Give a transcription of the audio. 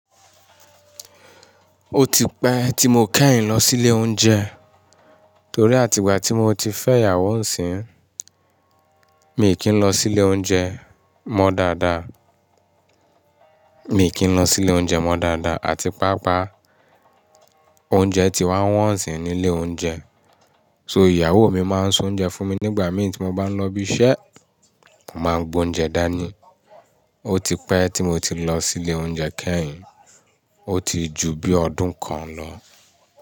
O ti pẹ ti mo kẹhin lọ sí ilé oúnjẹ, torí àtìgbà tí mo ti fẹ́ ìyàwó nísìínyi, mi kì n lọ sí ilé oúnjẹ mọ́ dáadáa. Mi kì n lọ sí ilé oúnjẹ mọ́ dáadáa àti pàápàá, oúnjẹ ti wá wọ́n sni ní ilé oúnjẹ. So ìyàwó mi máa ń soúnjẹ fún mi nígbà mí tí mo bá n lọ ibi iṣẹ́, mo máa ń gbé oúnjẹ dání. O ti pẹ́ tí mo ti lọ sí ilé oúnjẹ kẹ́hin, o ti ju bí ọdún kan lọ.